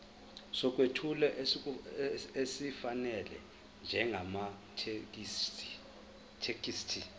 sokwethula esifanele njengamathekisthi